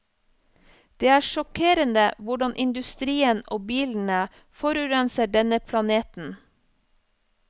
Det er sjokkerende hvordan industrien og bilene forurenser denne planeten.